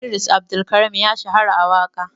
Idris Abdulkarim ya shahara a waƙa.